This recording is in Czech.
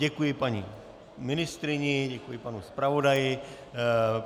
Děkuji paní ministryni, děkuji panu zpravodaji.